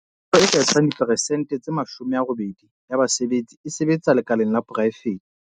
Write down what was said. Karolo e ka etsang diperesente tse 80 ya basebetsi e sebetsa lekaleng la poraefete.